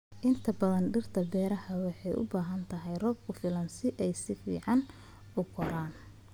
Inta badan dhirta beerta waxay u baahan tahay roob ku filan si ay si fiican u koraan.